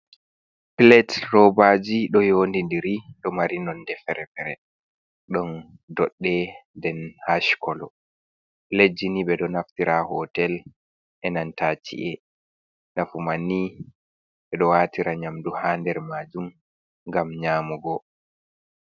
Plat robaji ɗo yondidiri ɗo mari nonde ferefere ɗon dodde den hashkolo plejini ɓeɗonaftira ha hotel enantaci’e, nafu manni ɓeɗo watira nyamdu ha nder majum gam nyamugo.